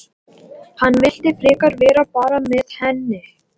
Hann vildi frekar vera bara með henni.